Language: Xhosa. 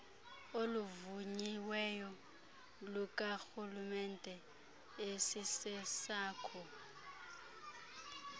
oluvunyiweyo lukarhulemente esisesakho